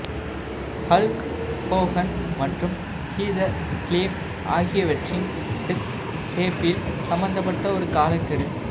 Hulk Hogan மற்றும் Heather Clem ஆகியவற்றின் sex டேப்பில் சம்பந்தப்பட்ட ஒரு காலக்கெடு